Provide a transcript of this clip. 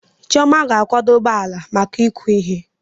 Chioma ga-akwadebe ala maka ịkụ ihe.